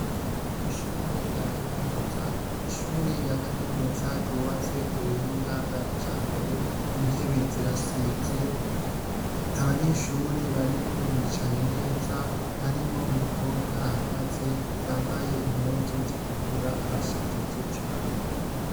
Ishure rya Kaminuza ryubatse kubuhinga bwa kijambere intebe zirasize abanyeshure arimwo bicaye neza harimwo umukobwa ahagaze yambaye impuzu zitukura arashajije cane.